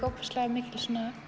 ofboðslega mikil